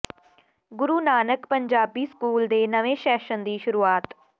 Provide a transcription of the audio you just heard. ਗੁਰੂ Nanak Punjabi school ਦੇ ਨਵੇਂ session ਦੀ ਸ਼ੁਰੂਆਤ